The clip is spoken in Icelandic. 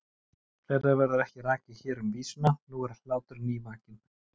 Fleira verður ekki rakið hér um vísuna: Nú er hlátur nývakinn.